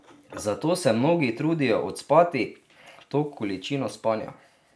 Zato se mnogi trudijo odspati to količino spanja.